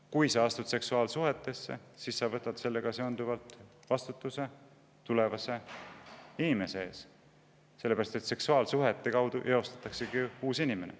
Kui sa astud seksuaalsuhtesse, siis sellega sa võtad vastutuse tulevase inimese eest, sest seksuaalsuhte kaudu eostataksegi uus inimene.